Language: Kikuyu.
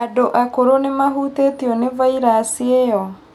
Andũ akũrũ nĩmahũtĩtio nĩ vairasi ĩyo